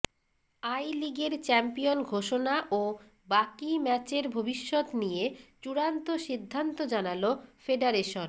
I লিগের champion ঘোষণা ও বাকি ম্যাচের ভবিষ্যৎ নিয়ে চূড়ান্ত সিদ্ধান্ত জানাল ফেডারেশন